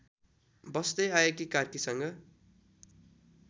बस्दै आएकी कार्कीसँग